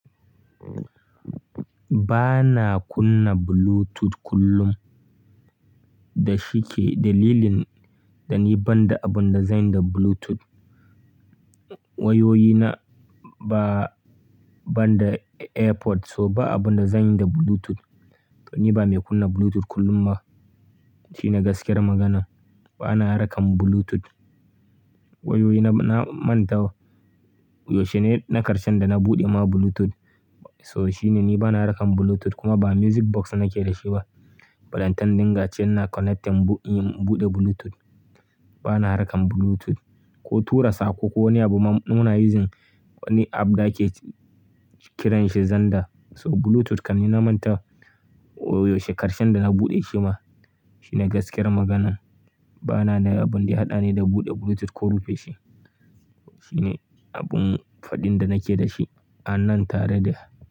Ba na kunna Bluetooth kullum, da shike dalilin dani banda abun da zanyi da Bluetooth. Wayoyina ba, banda AirPods so ba abun da zanyi da Bluetooth. Don ni ba mai kunna Bluetooth kullum ba. Shine gaskiyar magana. Ba na rakan Bluetooth. Wayoyi na, na manta wa. Yaushe ne na karshen da na buɗe ma Bluetooth? So shine ni ba na rakan Bluetooth kuma ba music box nake da shi ba. Balantan dinga ce na connectin in buɗe Bluetooth. Ba na rakan Bluetooth ko tura sako ko wani abu ma muna using wani app da ake kiran shi Zander. So Bluetooth kam ni na manta wa, wa yaushe karshen da na buɗe shi ma. Shine gaskiyar magana. Ba na da abin da ya haɗa ni da buɗe Bluetooth ko rufe shi. Shine abun faɗin da nake da shi an nan tare da.